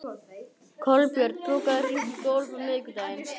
Kolbjörn, bókaðu hring í golf á miðvikudaginn.